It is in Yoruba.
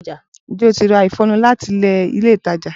Ǹjẹ́ o ti ra ìfọnu láti ilé ìtajà?